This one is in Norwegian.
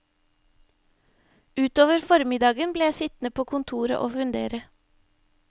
Utover formiddagen ble jeg sittende på kontoret og fundere.